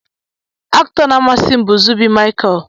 Aktọ na amasim bu Zubby micheal.